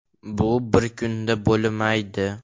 Bu bir kunda bo‘lmaydi.